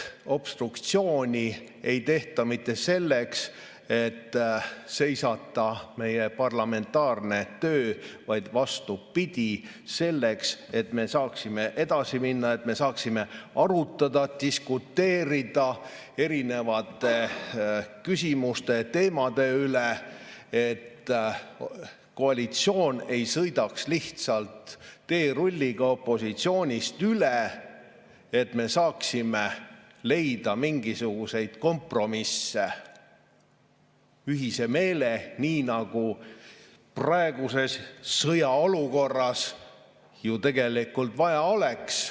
Obstruktsiooni ei tehta mitte selleks, et seisata meie parlamentaarne töö, vaid vastupidi, selleks, et me saaksime edasi minna, et me saaksime arutada, diskuteerida erinevate küsimuste ja teemade üle, et koalitsioon ei sõidaks lihtsalt teerulliga opositsioonist üle ja me saaksime leida mingisuguseid kompromisse, ühise meele, nii nagu praeguses sõjaolukorras ju tegelikult vaja oleks.